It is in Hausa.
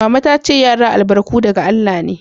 Mama ta ce "Yara albarku daga Allah me."